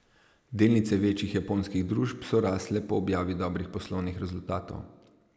Delnice večjih japonskih družb so rasle po objavi dobrih poslovnih rezultatov.